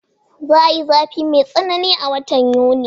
Za'a yi zafi mai tsanani a watan Yuni